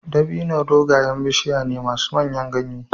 Dabino dogayen bishiya ne masu manyan ganye.